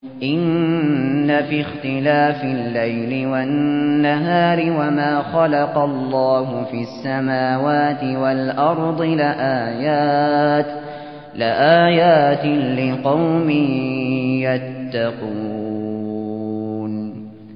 إِنَّ فِي اخْتِلَافِ اللَّيْلِ وَالنَّهَارِ وَمَا خَلَقَ اللَّهُ فِي السَّمَاوَاتِ وَالْأَرْضِ لَآيَاتٍ لِّقَوْمٍ يَتَّقُونَ